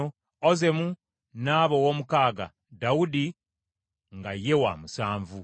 Ozemu n’aba ow’omukaaga, Dawudi nga ye wa musanvu.